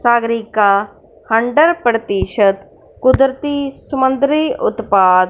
Sagarika hundred प्रतिशत कुदरती समुद्री उत्पात--